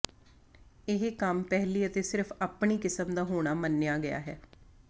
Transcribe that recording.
ਇਹ ਕੰਮ ਪਹਿਲੀ ਅਤੇ ਸਿਰਫ ਆਪਣੀ ਕਿਸਮ ਦਾ ਹੋਣਾ ਮੰਨਿਆ ਗਿਆ ਹੈ